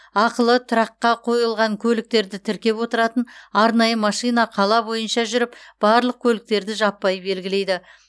ақылы тұраққа қойылған көліктерді тіркеп отыратын арнайы машина қала бойынша жүріп барлық көліктерді жаппай белгілейді